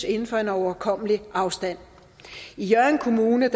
inden for en overkommelig afstand i hjørring kommune